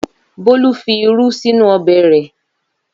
Bólú fi irú sínú ọbẹ̀ rẹ̀.